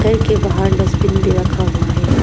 घर के बाहर डसबिन भी रखा हुआ है।